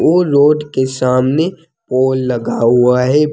ओ लोड के सामने पोल लगा हुआ है।